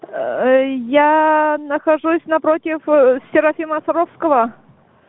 ээ я нахожусь напротив серафима саровского